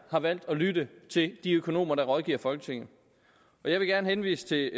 har valgt at lytte til de økonomer der rådgiver folketinget jeg vil gerne henvise til